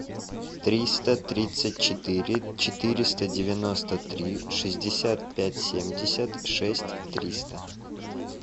триста тридцать четыре четыреста девяносто три шестьдесят пять семьдесят шесть триста